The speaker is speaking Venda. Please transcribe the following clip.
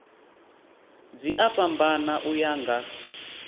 dzi a fhambana uya nga